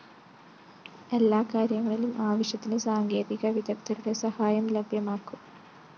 എല്ലാകാര്യങ്ങളിലും ആവശ്യത്തിന് സാങ്കേതികവിദഗ്ധരുടെ സഹായം ലഭ്യമാക്കും